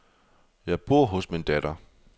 Jeg bor hos min datter.